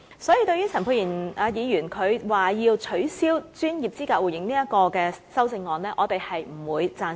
所以，對於陳沛然議員提出，要取消專業資格互認這項修正案，我們不會贊成。